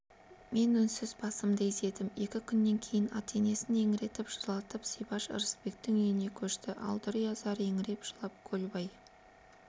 мен үнсіз басымды изедім екі күннен кейін ата-енесін еңіретіп жылатып зибаш ырысбектің үйіне көшті ал дүрия зар еңіреп жылап көлбай